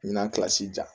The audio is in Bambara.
Ɲinan kilasi jɔ